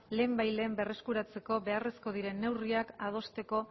lehenbailehen berreskuratzeko beharrezko diren neurriak adosteko